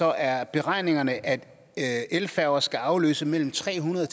er at beregningerne er at elfærger skal afløse mellem tre hundrede